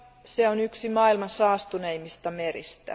Se on yksi maailman saastuneimmista meristä.